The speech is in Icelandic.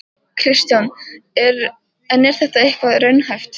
Kristján: En er þetta eitthvað raunhæft?